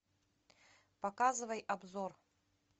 показывай обзор